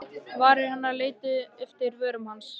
Varir hennar leituðu eftir vörum hans.